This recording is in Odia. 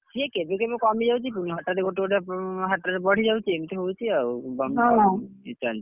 ସେ କେବେ କେବେ କମି ଯାଉଛି ପୁଣି ହଠାତ୍ ଗୋଟେ ଗୋଟେ ହାଟରେ ବଢି ଯାଉଛି ଏମିତି ହଉଛି ଆଉ ଇଏ ଚାଲିଛି ,